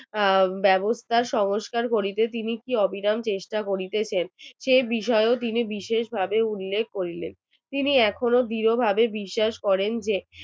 তার ব্যবস্থার সংস্কার করিতে তিনি অবিরাম চেষ্টা করিতেছেন সেই বিষয়ক তিনি বিশেষভাবে উল্লেখ করিবেন তিনি এখনো দৃঢ়ভাবে বিশ্বাস করেন যে